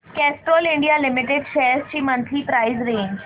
Castrol India limited shares ची monthly price range